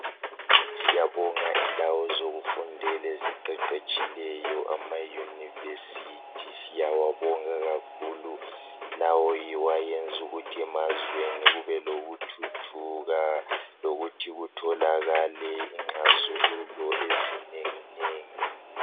Siyabonga indawo zokufundela eziqeqetshileyo amaYunivesithi siyawabonga kakhulu lawo yiwo ayenza ukuthi emazweni kubelokuthuthuka lokuthi kutholakale inxazululo ezinenginengi.